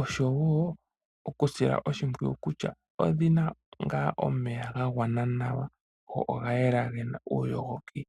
oshowo okudhi sila oshimpwiyu kutya odhi na omeya ga gwana nawa go oga yela ge na uuyogoki.